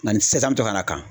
Nka